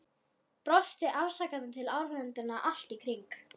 Brosti afsakandi til áhorfenda allt í kring.